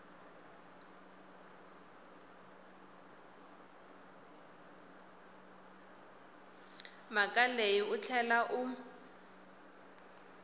mhaka leyi u tlhela u